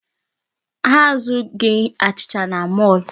Ha azụghị achịcha na mall